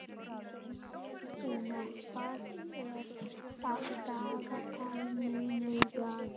Geirfinna, hvað er á dagatalinu mínu í dag?